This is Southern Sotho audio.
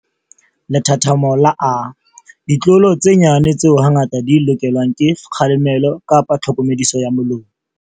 Lethathamo la A. Ditlolo tse nyane tseo hangata di lokelwang ke kgalemelo kapa tlhokomediso ya molomo.